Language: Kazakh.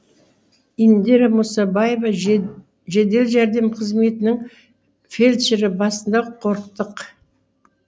индира мұсабаева жедел жәрдем қызметінің фельдшері басында қорықтық